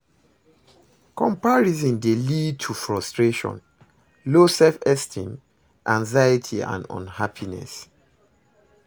comparison dey lead to frustration, low self-esteem, anxiety and unhappiness.